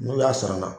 N'u y'a sara